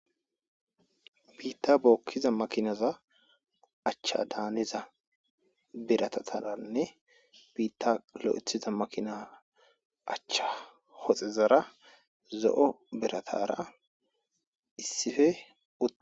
biitta bookkiza makinaza achcha daaniza birattananne biitta lo7ethiza makina achcha hoxezara zo7o biratara issife ut